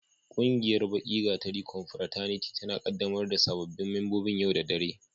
Ƙungiyar Baki gatari confrataniti tana ƙaddamar da sababbin membobin yau da dare.